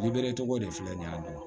Liberitogo de filɛ nin ye a don